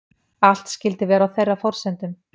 Allt skyldi vera á þeirra forsendum